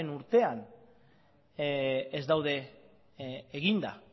urtean ez daude eginda